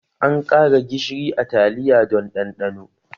An ƙara gishiri a taliya don ɗanɗano